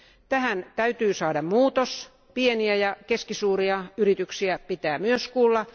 Tähän täytyy saada muutos, pieniä ja keskisuuria yrityksiä pitää myös kuulla.